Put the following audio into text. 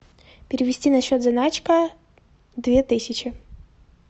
перевести на счет заначка две тысячи